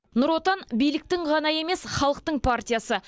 нұр отан биліктің ғана емес халықтың партиясы